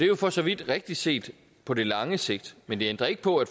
jo for så vidt rigtigt set på det lange sigt men det ændrer ikke på at